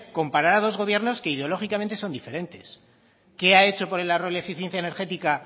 comparar a dos gobiernos que ideológicamente son diferentes qué han hecho por el ahorro y la eficiencia energética